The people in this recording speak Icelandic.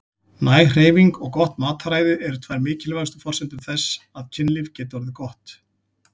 Næg hreyfing og gott mataræði eru tvær mikilvægustu forsendur þess að kynlífið geti orðið gott.